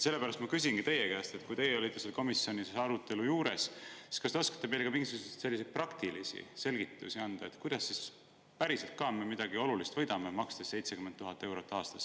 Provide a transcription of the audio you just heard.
Sellepärast ma küsingi teie käest, kuna teie olite selle komisjoni arutelu juures, kas te oskate meile anda ka mingisuguseid praktilisi selgitusi, kuidas me siis päriselt midagi olulist võidame, makstes 70 000 eurot aastas.